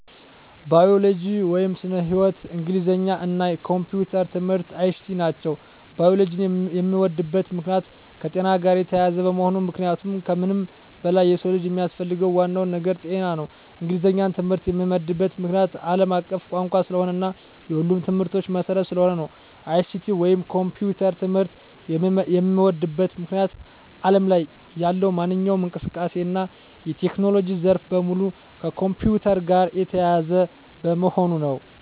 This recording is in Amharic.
ባዮሎጂ (ስነ-ህይዎት)፣ እንግሊዘኛ እና የኮምፒዩተር ትምህርት(ICT) ናቸው። ባዮሎጂን የምወድበት ምክንያት - የከጤና ጋር የተያያዘ በመሆኑ ምክንያቱም ከምንም በላይ የሰው ልጅ የሚያስፈልገው ዋናው ነገር ጤና ነው። እንግሊዘኛን ትምህርት የምዎድበት ምክንያት - አለም አቀፍ ቋንቋ ስለሆነ እና የሁሉም ትምህርቶች መሰረት ስለሆነ ነው። ICT ወይንም የኮምፒውተር ትምህርት የምዎድበት ምክንያት አለም ላይ ያለው ማንኛውም እንቅስቃሴ እና የቴክኖሎጂ ዘርፍ በሙሉ ከኮምፒውተር ጋር የተያያዘ በመሆኑ ነው።